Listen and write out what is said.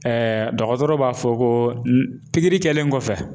dɔgɔtɔrɔ b'a fɔ ko pikiri kɛlen kɔfɛ